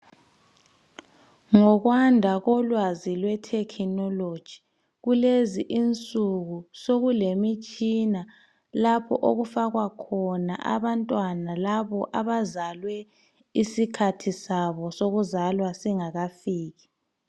Ngokwanda kolwazi lwe technology kulezi insuku sokulemitshina lapho okufakwa khona abantwana abo abazalwe isikhathi sabo sokuzalwa singakafiki